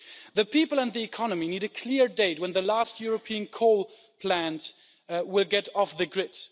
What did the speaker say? The people and the economy need a clear date when the last European coal plant will get off the grid.